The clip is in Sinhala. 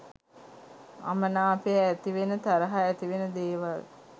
අමනාපය ඇතිවෙන තරහ ඇතිවෙන දේවල්